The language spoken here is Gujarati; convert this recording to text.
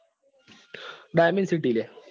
આ dimensity લ્યા.